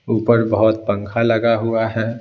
ऊपर बहुत पंखा लगा हुआ है।